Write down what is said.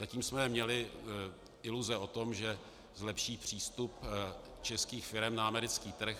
Zatím jsme měli iluze o tom, že zlepší přístup českých firem na americký trh.